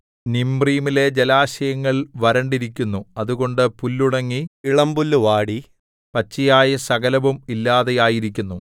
നിമ്രീമിലെ ജലാശയങ്ങൾ വരണ്ടിരിക്കുന്നു അതുകൊണ്ട് പുല്ലുണങ്ങി ഇളമ്പുല്ലു വാടി പച്ചയായ സകലവും ഇല്ലാതെയായിരിക്കുന്നു